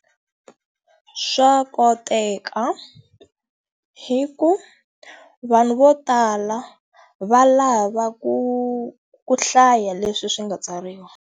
Swa koteka. Hikuva, vanhu vo tala va lava ku ku hlaya leswi swi nga tsariwa.